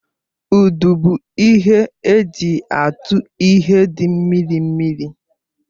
Ụdụ bụ ihe eji atu ihe dị mmiri mmiri